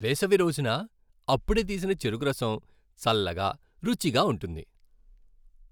వేసవి రోజున అప్పుడే తీసిన చెరకురసం చల్లగా, రుచిగా ఉంటుంది.